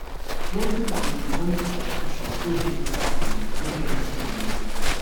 plenty people they join the contribution wey dey their village make dem see money save